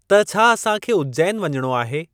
त छा असां खे उज्जैन वञणो आहे?